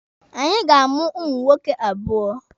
Anyị ga-amụ ụmụ nwoke abụọ